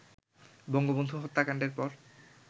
বঙ্গবন্ধু হত্যাকাণ্ডের পর